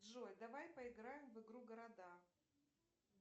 джой давай поиграем в игру города